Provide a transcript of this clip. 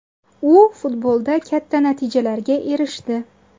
U futbolda katta natijalarga erishdi.